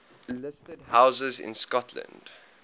listed houses in scotland